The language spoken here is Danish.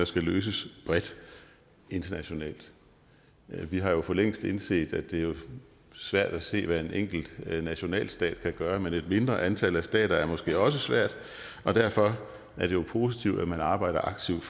skal løses bredt internationalt vi har jo for længst indset at det er svært at se hvad en enkelt nationalstat kan gøre men med et mindre antal stater er det måske også svært og derfor er det jo positivt at man arbejder aktivt